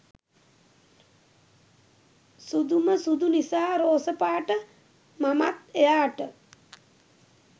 සුදුම සුදු නිසා රෝස පාට මමත් එයාට